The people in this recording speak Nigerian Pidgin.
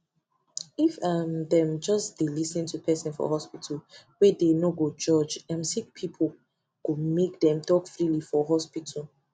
if um them just dey lis ten to person for hospitalwey dey no go judge um sick peoplee go make dem talk freely for hospital